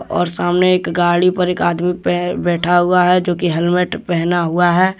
और सामने एक गाड़ी पर एक आदमी पर बैठा हुआ है जो कि हेलमेट पहना हुआ है।